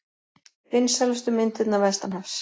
Vinsælustu myndirnar vestanhafs